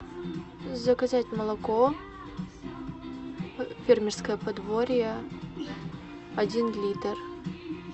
заказать молоко фермерское подворье один литр